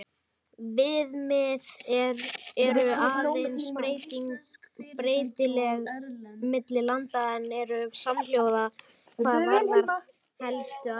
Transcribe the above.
Viðmið eru aðeins breytileg milli landa en eru samhljóða hvað varðar helstu atriði.